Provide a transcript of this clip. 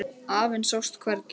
Afinn sást hvergi.